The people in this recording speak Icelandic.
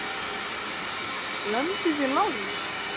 SKÚLI: Lömduð þið Lárus?